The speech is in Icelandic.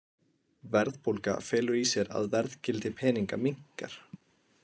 Verðbólga felur í sér að verðgildi peninga minnkar.